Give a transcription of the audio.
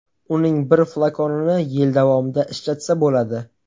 Uning bir flakonini yil davomida ishlatsa bo‘ladi.